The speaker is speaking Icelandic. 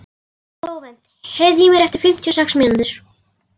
Flóvent, heyrðu í mér eftir fimmtíu og sex mínútur.